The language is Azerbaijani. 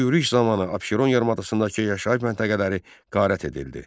Bu yürüş zamanı Abşeron yarımadasındakı yaşayış məntəqələri qarət edildi.